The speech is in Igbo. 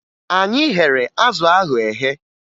Anyị ghere azụ ahụ eghe